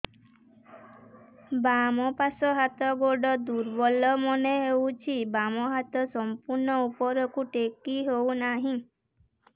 ବାମ ପାଖ ହାତ ଗୋଡ ଦୁର୍ବଳ ମନେ ହଉଛି ବାମ ହାତ ସମ୍ପୂର୍ଣ ଉପରକୁ ଟେକି ହଉ ନାହିଁ